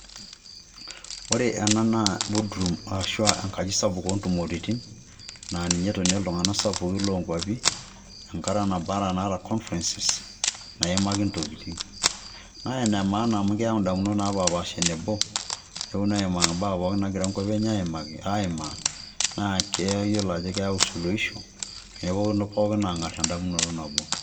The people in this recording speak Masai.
Ore ena naa board roam ashu enkaji sapuk o ntumoritin naa ninye etonie iltung'anak sapukin lo nkuapi enkata naba naa enaata conference naimaki intokitin. Naa ene maana amu keyau ndamunot napaapaasha enebo neponu aimaki mbaa pookin angira nkuapi enye aimaki aimaa naa keyolo ajo keyau soluhisho neponu pookin aang'ar endamunoto nabo.